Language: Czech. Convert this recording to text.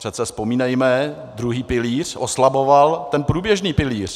Přece vzpomínejme, druhý pilíř oslaboval ten průběžný pilíř.